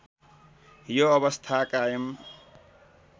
यो अवस्था कायम